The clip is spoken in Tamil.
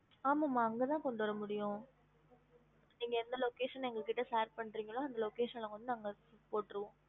ஆமா மா அங்க தான் கொண்டு வரமுடியும் நீங்க எந்த location எங்ககிட்ட share பண்றிங்களோ அந்த location ல வந்து நாங்க போட்ருவோம்